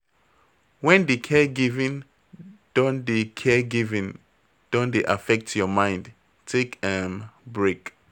When di caregiving don dey caregiving don dey affect your mind, take um break